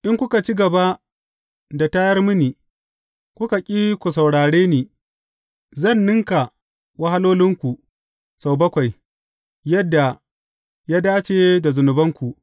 In kuka ci gaba da tayar mini, kuka ƙi ku saurare ni, zan ninka wahalolinku sau bakwai, yadda ya dace da zunubanku.